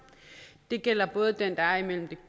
det gælder både den der er